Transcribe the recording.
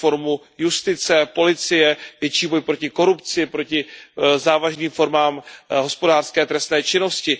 reformu justice, policie, větší boj proti korupci, proti závažným formám hospodářské trestné činnosti.